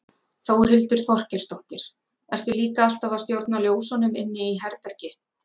Þórhildur Þorkelsdóttir: Ertu líka alltaf að stjórna ljósunum inni í herbergi?